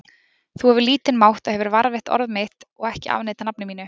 Þú hefur lítinn mátt og hefur varðveitt orð mitt og ekki afneitað nafni mínu.